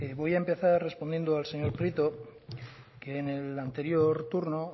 voy a empezar respondiendo al señor prieto que en el anterior turno